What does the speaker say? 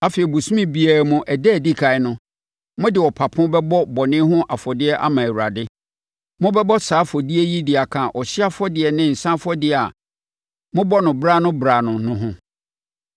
Afei, bosome biara mu ɛda a ɛdi ɛkan no, mode ɔpapo bɛbɔ bɔne ho afɔdeɛ ama Awurade. Mobɛbɔ saa afɔdeɛ yi de aka ɔhyeɛ afɔdeɛ ne nsã afɔdeɛ a mobɔ no wɔ berɛ-ano-berɛ-ano no ho.